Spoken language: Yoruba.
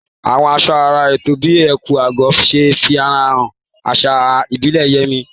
Àwọn aṣọ àrà ọ̀tọ̀ bíi ẹ̀kú/agọ̀ ṣe àfihàn ìgbéraga àṣà ìbílẹ̀ Yemi